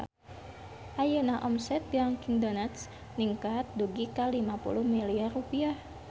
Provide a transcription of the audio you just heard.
Ayeuna omset Dunkin Donuts ningkat dugi ka 50 miliar rupiah